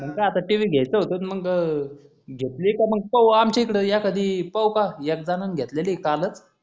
मगत आता t. v घ्ययच होत मग घेतली का मग पाहून आमच्या इकडे या कधी पाहू पाहा एक झनाण घेतली आहे कालच